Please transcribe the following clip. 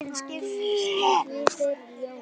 Svona eru liðin skipuð